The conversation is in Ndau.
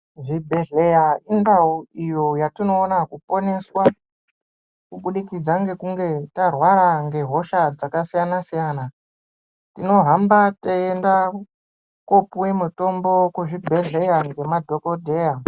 Zvibhedhleya indau yatinowona kuponeswa kubudikidza ngekunge tarwara ngehosha dzakasiyana siyana tinohamba teienda kopiwe mitombo kuchibhedhleya ngemadhokodheya.